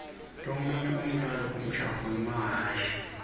lomunye umdlalo umjaho wemahhashi